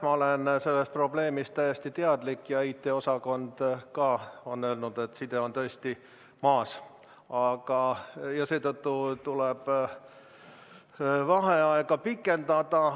Ma olen sellest probleemist täiesti teadlik ja IT-osakond on ka öelnud, et side on tõesti maas ja seetõttu tuleb vaheaega pikendada.